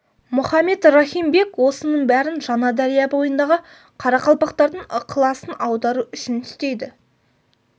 мұхаммед рахим бек осының бәрін жаңадария бойындағы қарақалпақтардың ықыласын аудару үшін істейді